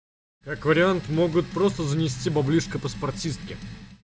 как вариант могут просто занести баблишко паспортистке